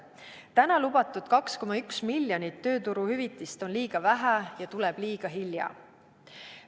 Täna lubatud 2,1 miljonit tööturuhüvitist on liiga vähe ja tuleb liiga hilja.